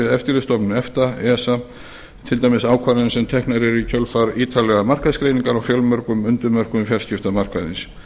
eftirlitsstofnun efta esa til dæmis ákvarðanir sem teknar eru í kjölfar ítarlegra markaðsgreininga á fjölmörgum undirmörkuðum fjarskiptamarkaðarins